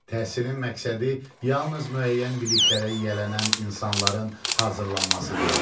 Təhsilin məqsədi yalnız müəyyən biliklərə yiyələnən insanların hazırlanması deyil.